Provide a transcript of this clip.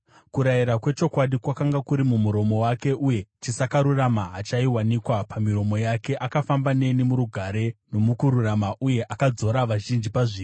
Kurayira kwechokwadi kwakanga kuri mumuromo wake, uye chisakarurama hachaiwanikwa pamiromo yake. Akafamba neni murugare nomukururama, uye akadzora vazhinji pazvivi.